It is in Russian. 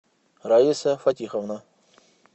раиса фатиховна